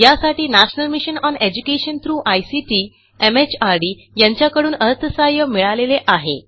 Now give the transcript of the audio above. यासाठी national mission on education through ICT MHRD यांच्याकडून अर्थसहाय्य मिळालेले आहे